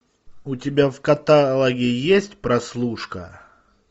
у тебя в каталоге есть прослушка